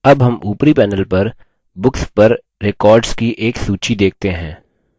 अब हम ऊपरी panel पर books पर records की एक सूची देखते हैं